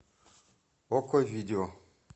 окко видео